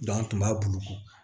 an tun b'a bulu kɔ